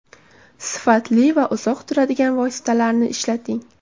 Sifatli va uzoq turadigan vositalarni ishlating.